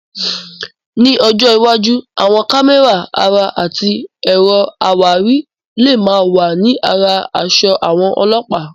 Ní ọjọ́ iwájú, àwọn kámẹ́rà ara àti ẹ̀rọ àwárí lè máa wà ní ara aṣọ àwọn Ọlọ́pàá.